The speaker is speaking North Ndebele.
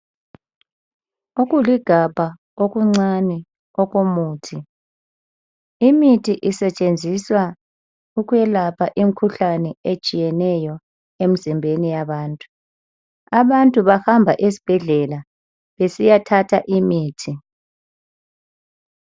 Okuligabha okuncane okomuthi. Imithi isetshenziswa ukwelapha imikhuhlane etshiyeneyo emzimbeni yabantu. Abantu bahamba esibhedlela besiyathatha imithi.